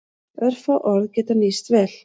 Örfá orð geta nýst vel.